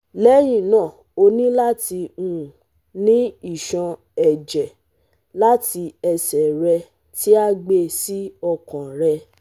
Lẹhinna o ni lati um ni iṣọn-ẹjẹ lati ẹsẹ rẹ ti a gbe si ọkan rẹ